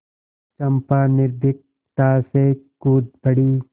चंपा निर्भीकता से कूद पड़ी